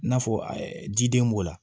I n'a fɔ ji den b'o la